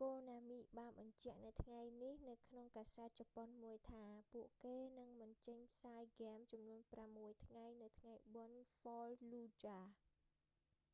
konami បានបញ្ជាក់នៅថ្ងៃនេះនៅក្នុងកាសែតជប៉ុនមួយថា ពួកគេនឹងមិនចេញផ្សាយហ្គេមចំនួនប្រាំមួយថ្ងៃនៅថ្ងៃបុណ្យ fallujah